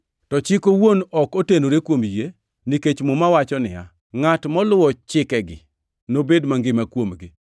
To Chik owuon ok otenore kuom yie, nikech Muma wacho niya, “Ngʼat moluwo chikegi nobed mangima kuomgi.” + 3:12 \+xt Lawi 18:5\+xt*